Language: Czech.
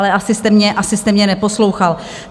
Ale asi jste mě neposlouchal.